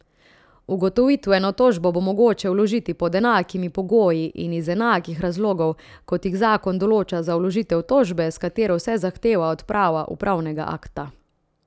Ugotovitveno tožbo bo mogoče vložiti pod enakimi pogoji in iz enakih razlogov, kot jih zakon določa za vložitev tožbe, s katero se zahteva odprava upravnega akta.